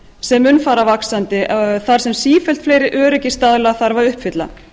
sem mun fara vaxandi þar sem sífellt fleiri öryggisstaðla þarf að uppfylla